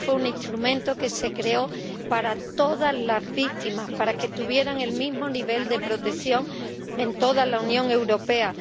Este fue un instrumento que se creó para todas las víctimas, para que tuvieran el mismo nivel de protección en toda la Unión Europea.